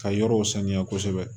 Ka yɔrɔw saniya kosɛbɛ